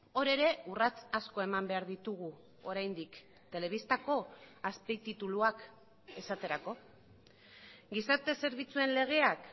hor ere urrats asko eman behar ditugu oraindik telebistako azpitituluak esaterako gizarte zerbitzuen legeak